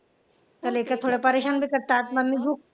तर लेकरं थोडे करतात. मम्मी भूक